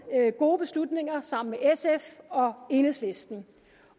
gode beslutninger sammen med sf og enhedslisten